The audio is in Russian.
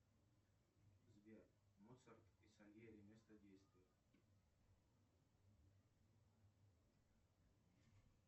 сбер моцарт и сальери место действия